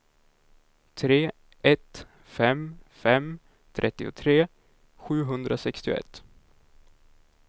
tre ett fem fem trettiotre sjuhundrasextioett